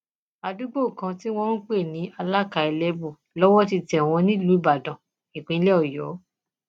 àdúgbò kan tí wọn ń pè ní alaka elébù lọwọ ti tẹ wọn nílùú ìbàdàn ìpínlẹ ọyọ